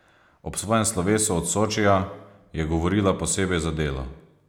Ob svojem slovesu od Sočija je govorila posebej za Delo.